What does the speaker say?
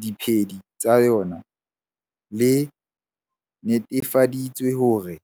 diphedi tsa yona, le netefaditse hore.